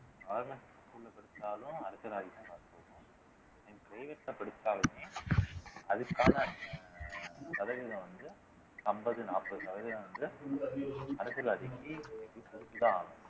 நீ private ல படிச்சாலுமே அதுக்கான சதவீதம் வந்து அம்பது நாப்பது சதவீதம் வந்து அரசியல்வாதிக்கு